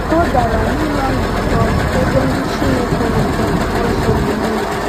O gara n’ụlọ nzukọ, ebe ndị Chineke na-agụ Akwụkwọ Nsọ mgbe niile.